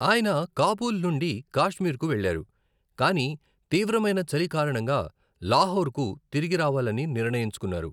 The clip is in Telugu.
ఆయన కాబూల్ నుండి కాశ్మీర్కు వెళ్ళారు, కాని తీవ్రమైన చలి కారణంగా లాహోర్కు తిరిగి రావాలని నిర్ణయించుకున్నారు.